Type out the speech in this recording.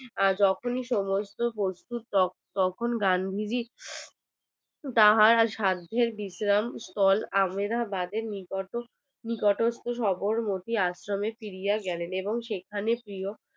যখনি সমস্ত প্রস্তুত তখনি গান্ধীজি তাহার সাধের বিশ্রাম স্থল আহমেদাবাদের নিকটে নিকটবর্তী সাধারণ একটি আশ্রমে ফিরিয়া গেলেন এবং সেখানে ফিরিয়া